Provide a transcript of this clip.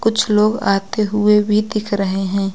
कुछ लोग आते हुए भी दिख रहे हैं।